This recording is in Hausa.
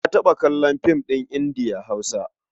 Na taɓa kallon fim ɗin Indiya-Hausa.